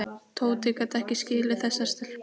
Tóti gat ekki skilið þessar stelpur.